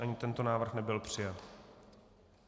Ani tento návrh nebyl přijat.